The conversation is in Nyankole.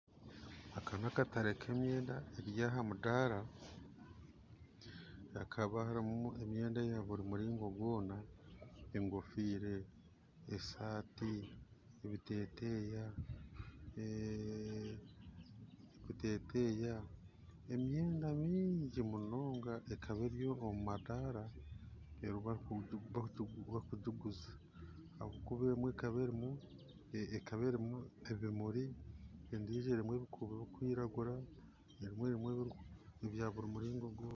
Ka n'akatare k'emyenda eri aha mudara hakaba harumu emyenda eya buri muringo gwona enkoofira, esaati, ebiteteya emyenda nyingi munonga ekaba eri omumadara bakugiguza emwe ekaba erumu ebimuri endiijo erimu ebikuubo bikwiragura emwe erimu ebya buri muringo gwona.